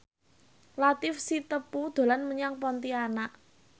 Latief Sitepu dolan menyang Pontianak